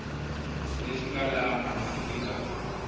lexi nga laha hansi eka